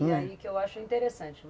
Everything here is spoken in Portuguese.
E aí que eu acho interessante.